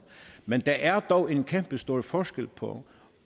men der er dog en kæmpestor forskel på